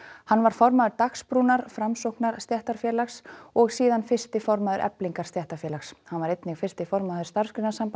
hann var formaður Dagsbrúnar Framsóknar stéttarfélags og síðan fyrsti formaður Eflingar stéttarfélags hann var einnig fyrsti formaður Starfsgreinasambands